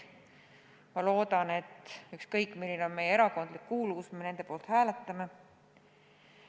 Ma loodan, et sõltumata erakondlikust kuuluvusest me nende poolt hääletame.